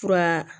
Fura